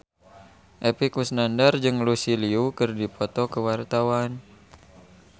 Epy Kusnandar jeung Lucy Liu keur dipoto ku wartawan